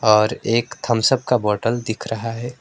और एक Thums Up का बॉटल दिख रहा है।